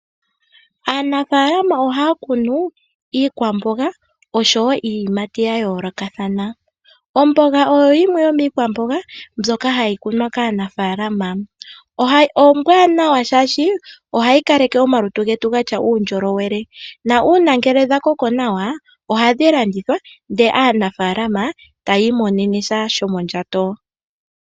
Aanafaalama ohaa kunu iikwamboga osho woo iiyimati ya yoolokathana. Omboga oyo yimwe yomiikwamboga mbyoka hayi kunwa kaanafaalama. Ombwaanawa shaashi ohayi kaleke omalutu getu gatya uundjolowele na uuna dha koko nawa ohadhi landithwa, ndele aanafaalama ta yiimonene sha shomondjato .